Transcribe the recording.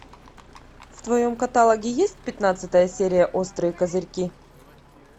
в твоем каталоге есть пятнадцатая серия острые козырьки